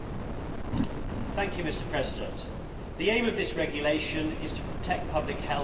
Mr President, the aim of this regulation is to protect public health and the environment.